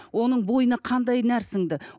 оның бойына қандай нәр сіңді